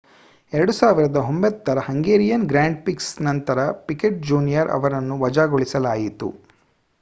2009 ರ Hungarian grand prix ನಂತರ Piquet junior ಅವರನ್ನು ವಜಾಗೊಳಿಸಲಾಯಿತು